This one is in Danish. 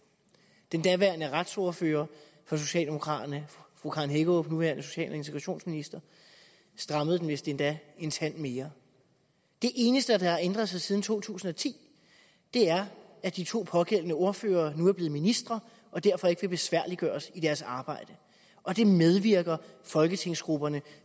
den daværende retsordfører for socialdemokraterne fru karen hækkerup nuværende social og integrationsminister strammede den vist endda en tand mere det eneste der har ændret sig siden to tusind og ti er at de to pågældende ordførere nu er blevet ministre og derfor ikke vil besværliggøres i deres arbejde og det medvirker folketingsgrupperne